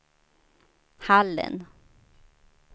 Hallen